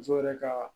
Muso yɛrɛ ka